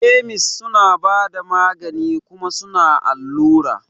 Kemis suna bada magani kuma suna allura.